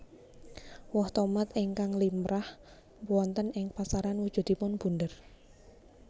Woh tomat ingkang limrah wonten ing pasaran wujudipun bunder